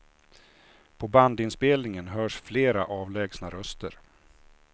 På bandinspelningen hörs flera avlägsna röster.